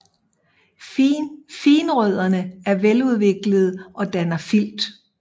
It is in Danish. Finrødderne er veludviklede og danner filt